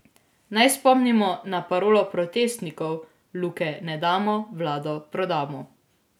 Naj spomnimo na parolo protestnikov: 'Luke ne damo, vlado prodamo'.